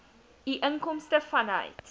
u inkomste vanuit